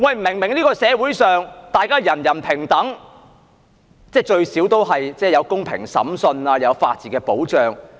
明明在這個社會上，大家人人平等，即至少也有公平審訊，亦有法治保障。